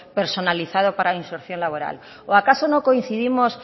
personalizado para la inserción laboral o acaso no coincidimos